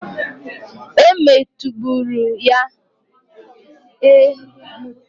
E, moto gburu ya.